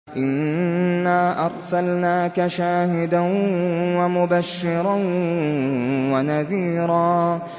إِنَّا أَرْسَلْنَاكَ شَاهِدًا وَمُبَشِّرًا وَنَذِيرًا